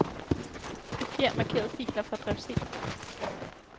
Kopier markerede filer fra drev C.